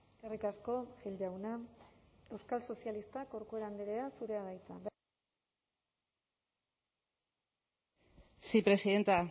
eskerrik asko gil jauna euskal sozialistak corcuera andrea zurea da hitza sí presidenta